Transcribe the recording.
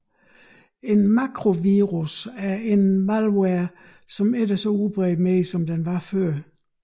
En makrovirus er en malware som ikke er så udbredt mere som den var før